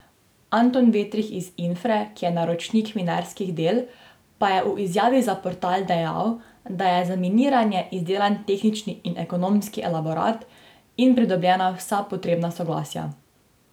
Anton Vetrih iz Infre, ki je naročnik minerskih del, pa je v izjavi za portal dejal, da je za miniranje izdelan tehnični in ekonomski elaborat in pridobljena vsa potrebna soglasja.